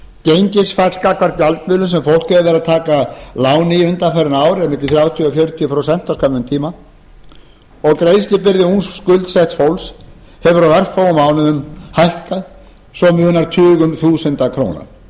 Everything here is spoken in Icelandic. gengisfall gagnvart gjaldmiðlum sem fólk hefur verið að taka lán í undanfarin ár er á milli þrjátíu til fjörutíu prósent á skömmum tíma og greiðslubyrði ungs skuldsetts fólks hefur á örfáum mánuðum hækkað svo munar tugum þúsunda króna